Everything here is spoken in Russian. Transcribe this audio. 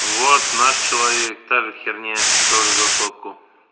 вот наш человек та же херня тоже за сотку